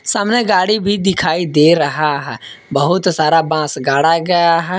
सामने गाड़ी भी दिखाई दे रहा है बहुत सारा बांस गाड़ा गया है।